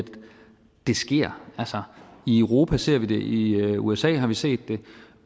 det sker i europa ser vi det i usa har vi set det